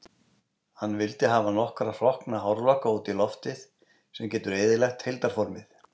Hann vill hafa nokkra hrokkna hárlokka út í loftið, sem getur eyðilagt heildarformið.